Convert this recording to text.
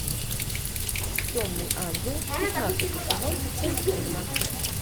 темный ангел пятнадцатый сезон часть семнадцать